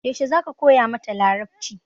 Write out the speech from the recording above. Yaushe za ka koya mata Larabci?